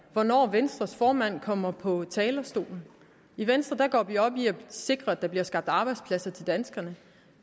hvornår venstres formand kommer på talerstolen i venstre går vi op i at sikre at der bliver skabt arbejdspladser til danskerne